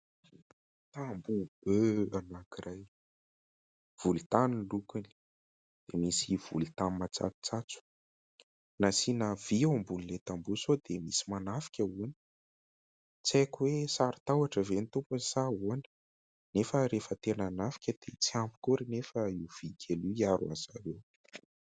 Tamboho be anankiray volontany ny lokony, misy volontany matsatsotsatso. Nasiana vy eo ambonin'ilay tamboho sao dia misy manafika hono ; tsy aiko hoe sari- tahotra ve ny tompony sa ahoana nefa rehefa tena hanafika dia tsy ampy akory anefa io vy kely io hiaro an'izareo.